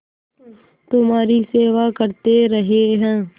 तुम्हारी सेवा करते रहे हैं